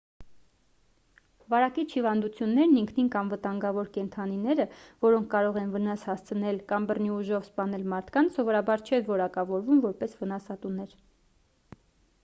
վարակիչ հիվանդություններն ինքնին կամ վտանգավոր կենդանիները որոնք կարող են վնաս հասցնել կամ բռնի ուժով սպանել մարդկանց սովորաբար չեն որակավորվում որպես վնասատուներ